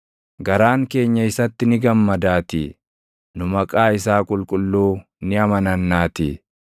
Garaan keenya isatti ni gammadaatii; nu maqaa isaa qulqulluu ni amanannaatii.